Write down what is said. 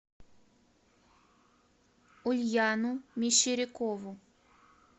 ульяну мещерякову